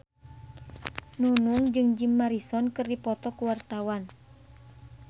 Nunung jeung Jim Morrison keur dipoto ku wartawan